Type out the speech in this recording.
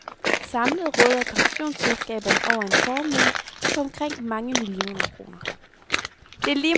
Samlet råder pensionsselskaberne over en formue på omkring mange milliarder kroner.